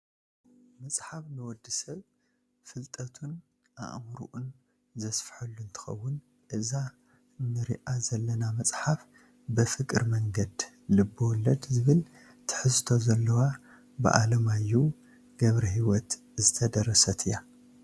መፅሓፍ ንወዲ ሰብ ፍልጠቱን ኣእምሩኡን ዘስፈሓሉ እንትከውን እዛ ንርአ ዘለና መፅሓፍ በፍቅር መንገድ ልብወለድ ዝብል ትሕዝቶ ዘለዋ ብኣለማዮሁ ገ/ሕይወት ዝተደረሰት እያ።